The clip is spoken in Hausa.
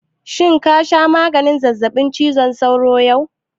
Shin ka sha maganin zazzaɓin cizon sauron yau?